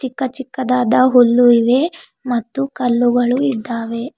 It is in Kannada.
ಚಿಕ್ಕ ಚಿಕ್ಕದಾದ ಹುಲ್ಲು ಇವೆ ಮತ್ತು ಕಲ್ಲುಗಳು ಇದ್ದಾವೆ.